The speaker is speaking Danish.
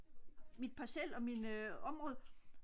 mit parcel og min område